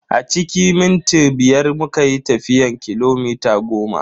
A cikin minti biyar muka yi tafiyan kilomita goma.